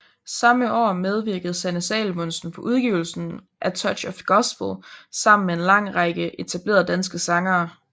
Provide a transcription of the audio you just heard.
Samme år medvirkede Sanne Salomonsen på udgivelsen A Touch of Gospel sammen med en lang række etablerede danske sangere